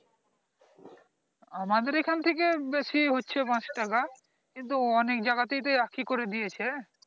আমাদের এখান থেকে বেশি হচ্ছে পাচ টাকা কিন্তু অনেক জাইয়গা তে এক ই করে দিয়েছে